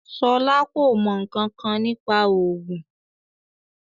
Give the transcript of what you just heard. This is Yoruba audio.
Ṣọlá kò mọ̀ ǹkankan nípa òògùn